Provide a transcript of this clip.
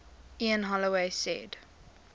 ian holloway said